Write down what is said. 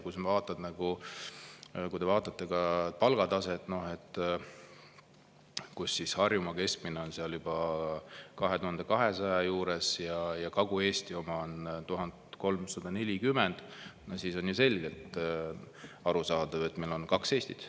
Kui te vaatate ka palgataset, kus Harjumaa keskmine on juba 2200 euro juures ja Kagu-Eesti oma on 1340, siis on ju selgelt arusaadav, et meil on kaks Eestit.